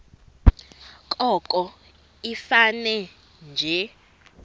koko ifane nje